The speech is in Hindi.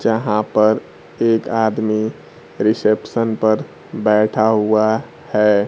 जहां पर एक आदमी रिसेप्शन पर बैठा हुआ है।